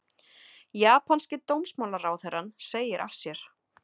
Japanski dómsmálaráðherrann segir af sér